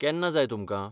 केन्ना जाय तुमकां?